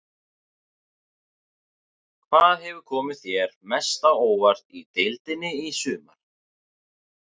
Hvað hefur komið þér mest á óvart í deildinni í sumar?